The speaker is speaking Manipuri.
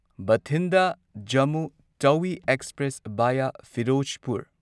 Bathinda Jammu Tawi express via Firozpur